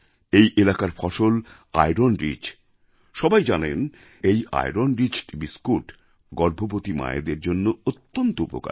এই এলাকার ফসল আইরন রিচ সব্বাই জানেন এবং এই আইরন রিচড বিস্কুট গর্ভবতী মায়েদের জন্য অত্যন্ত উপকারী